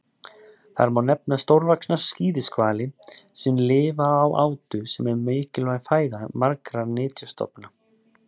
Þar má nefna stórvaxna skíðishvali sem lifa á átu sem er mikilvæg fæða margra nytjastofna.